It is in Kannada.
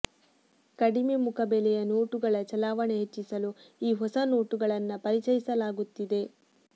ಕಡಿಮೆ ಮುಖಬೆಲೆಯ ನೋಟುಗಳ ಚಲಾವಣೆ ಹೆಚ್ಚಿಸಲು ಈ ಹೊಸ ನೋಟುಗಳನ್ನ ಪರಿಚಯಿಸಲಾಗುತ್ತಿದೆ